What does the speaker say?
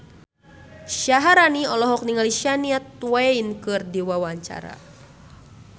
Syaharani olohok ningali Shania Twain keur diwawancara